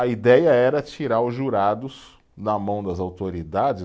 A ideia era tirar os jurados da mão das autoridades.